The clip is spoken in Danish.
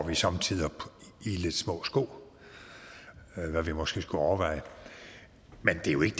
vi somme tider går i lidt små sko hvad vi måske skulle overveje men det er jo ikke